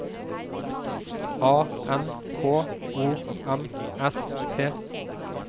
A N K O M S T